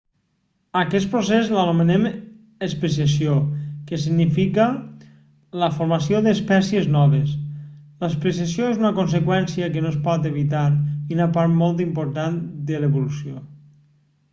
a aquest procés l'anomenem especiació que significa la formació d'espècies noves l'especiació és una conseqüència que no es pot evitar i una part molt important de l'evolució